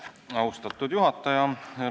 Austatud juhataja!